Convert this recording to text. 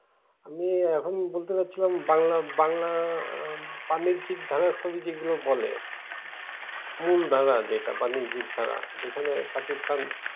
আমি এখন বলতে যাচ্ছিলাম বাংলা বাংলা বাণিজ্যিক ধারা ছবি যেগুলো বলে। মূল ধারা যেটা বাণিজ্যিক ধারা। যেখানে সাকিব খান